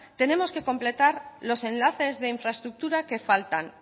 tenemos que completar los enlaces de infraestructura que faltan